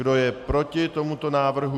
Kdo je proti tomuto návrhu?